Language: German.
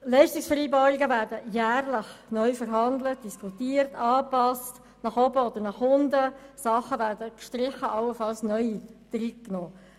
Leistungsvereinbarungen werden jährlich neu verhandelt, diskutiert und nach oben oder unten angepasst, Dinge werden gestrichen oder allenfalls neu aufgenommen.